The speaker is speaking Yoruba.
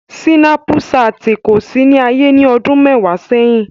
Sinapṣatin ko si ni aye ni ọdun mẹwa sẹhin.